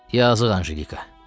Yazıq Anjelika.